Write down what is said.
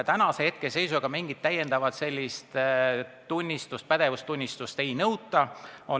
Praeguse seisuga mingit sellist pädevustunnistust ei nõuta.